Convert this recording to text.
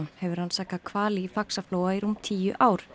hefur rannsakað hvali í Faxaflóa í rúm tíu ár